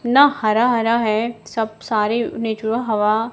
न हरा हरा है सब सारे नेचुरल हवा--